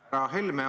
Härra Helme!